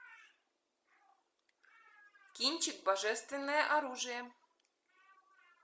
кинчик божественное оружие